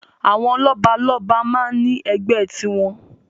Àwọn lọ́balọ́ba máa ń ní ẹgbẹ́ tiwọn.